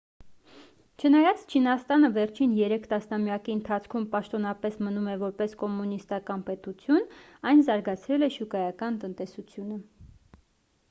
չնայած չինաստանը վերջին երեք տասնամյակի ընթացքում պաշտոնապես մնում է որպես կոմունիստական պետություն այն զարգացրել է շուկայական տնտեսությունը